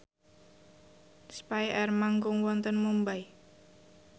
spyair manggung wonten Mumbai